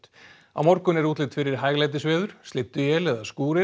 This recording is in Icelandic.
á morgun er útlit fyrir hæglætisveður slydduél eða